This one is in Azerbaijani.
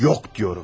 Yox deyirəm!